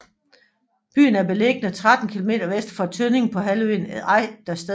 Byen er beliggende 13 kilometer vest for Tønning på halvøen Ejdersted